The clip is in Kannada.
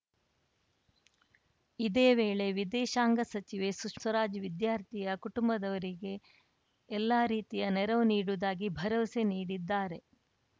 ಇದೇ ವೇಳೆ ವಿದೇಶಾಂಗ ಸಚಿವೆ ಸುಷ್ ಸ್ವರಾಜ್‌ವಿದ್ಯಾರ್ಥಿಯ ಕುಟುಂಬದವರಿಗೆ ಎಲ್ಲಾ ರೀತಿಯ ನೆರವು ನೀಡುವುದಾಗಿ ಭರವಸೆ ನೀಡಿದ್ದಾರೆ